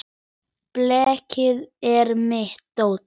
Blekið er mitt dóp.